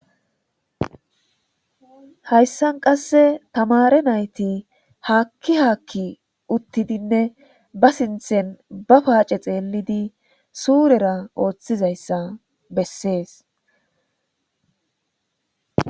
hayssan qasse tamare nayti haakki haakki uttidinne ba sinthen ba paace xeellidi suurera ooththizayssa bessees